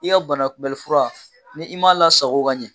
I ka bana kunbɛlifura ni i m'a lasago ka ɲɛ.